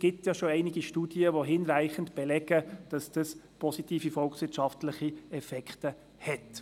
Es gibt bereits einige Studien, die hinreichend belegen, dass dies positive volkswirtschaftliche Effekte hat.